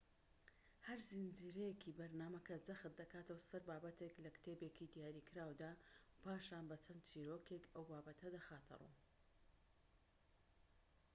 هەر زنجیرەیەکی بەرنامەکە جەخت دەکاتەوە سەر بابەتێك لە کتێبێکی دیاریکراودا و پاشان بە چەند چیرۆکێك ئەو بابەتە دەخاتە ڕوو